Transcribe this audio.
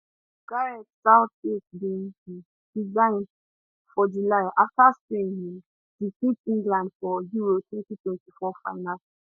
gareth southgate bin um resign for july afta spain um defeat england for euro 2024 final